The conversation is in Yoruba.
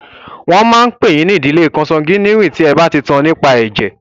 Wọ́n máa pè yín ní ìdílé kọnsangíwìnì tí ẹ bá ti tan nípa ẹ̀jẹ̀.